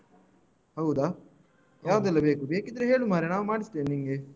ಹೌದಾ ಯಾವ್ದೆಲ್ಲ ಬೇಕು ಬೇಕಿದ್ರೆ ಹೇಳು ಮಾರೆ ನಾವು ಮಾಡಿಸ್ತೇವೆ ನಿಂಗೆ.